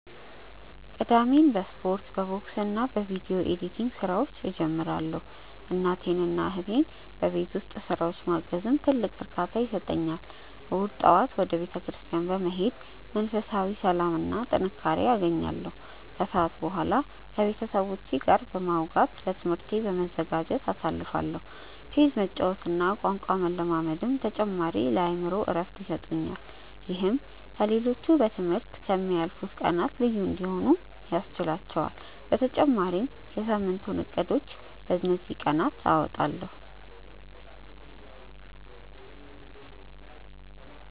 ቅዳሜን በስፖርት፣ በቦክስና በቪዲዮ ኤዲቲንግ ስራዎች እጀምራለሁ። እናቴንና እህቴን በቤት ውስጥ ስራዎች ማገዝም ትልቅ እርካታ ይሰጠኛል። እሁድ ጠዋት ወደ ቤተክርስቲያን በመሄድ መንፈሳዊ ሰላምና ጥንካሬ አገኛለሁ፤ ከሰዓት በኋላ ከቤተሰቦቼ ጋር በማውጋትና ለትምህርቴ በመዘጋጀት አሳልፋለሁ። ቼዝ መጫወትና ቋንቋ መለማመድም ተጨማሪ የአእምሮ እረፍት ይሰጡኛል። ይህም ከ ሌሎቹ በ ትምህርት ከ ምያልፉት ቀናት ልዩ እንዲሆኑ ያስችህላቹአል በተጨማሪም የ ሳምንቱን እቅዶችን በ እንዚህ ቀናት አወጣለሁ።